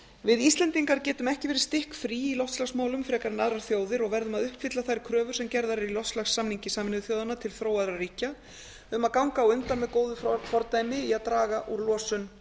við íslendingar getum ekki verið stikkfrí í loftslagsmálum frekar en aðrar þjóðir og verðum að uppfylla þær kröfur sem gerðar eru í loftslagssamningi sameinuðu þjóðanna til þróaðra ríkja um að ganga á undan með góðu fordæmi í að draga úr losun